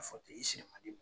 A fɔ o